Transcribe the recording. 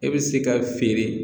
E bɛ se ka feere